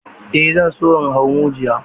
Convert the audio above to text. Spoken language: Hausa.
Eh zan so in hau majuyi.